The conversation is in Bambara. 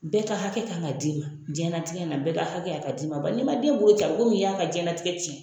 Bɛɛ ka hakɛ kan ka d'i ma, diɲɛna tigɛ bɛɛ ka hakɛ, ka d'i ma, bari ni ma den b'o ci a bi komi, i y'a ka diɲɛnatigɛ cɛn